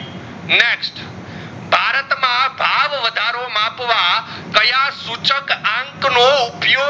આવ વધારો માપવા કયા સૂચક અંક નો ઉપયોગ